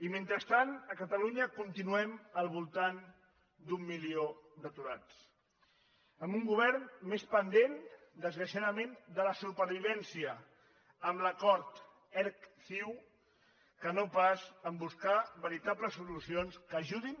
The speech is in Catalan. i mentrestant a catalunya continuem al voltant d’un milió d’aturats amb un govern més pendent desgraciadament de la supervivència amb l’acord erc ciu que no pas de buscar veritables solucions que ajudin